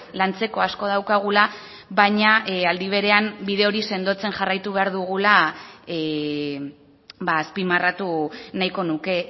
lantzeko asko daukagula baina aldi berean bide hori sendotzen jarraitu behar dugula azpimarratu nahiko nuke